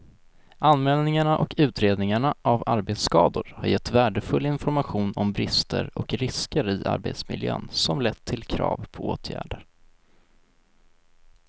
Anmälningarna och utredningarna av arbetsskador har gett värdefull information om brister och risker i arbetsmiljön som lett till krav på åtgärder.